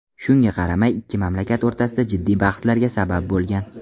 Shunga qaramay ikki mamlakat o‘rtasida jiddiy bahslarga sabab bo‘lgan.